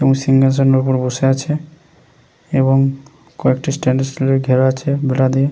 এবং সিংহাসনের ওপর বসে আছে এবং কয়েকটি স্টেনলেশস্টীল ঘেরা আছে বেড়া দিয়ে ।